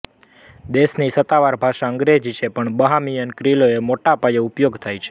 દેશની સત્તાવાર ભાષા અંગ્રેજી છે પણ બહામિયન ક્રિયોલનો મોટાપાયે ઉપ્યોગ થાય છે